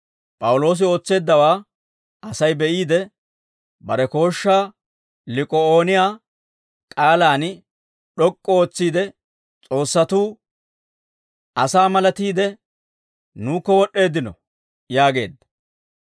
P'awuloosi ootseeddawaa Asay be'iide, bare kooshshaa Lik'aa'ooniyaa k'aalaan d'ok'k'u ootsiide, «S'oossatuu asaa malatiide nuukko wod'd'eeddino» yaageedda.